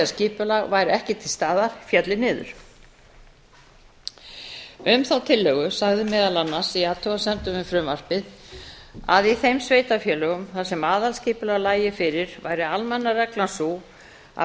skipulag væri ekki til staðar félli niður um þá tillögu sagði meðal annars í athugasemdum við frumvarpið að í þeim sveitarfélögum þar sem aðalskipulag lægi fyrir væri almenna reglan sú að